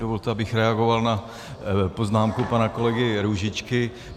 Dovolte, abych reagoval na poznámku pana kolegy Růžičky.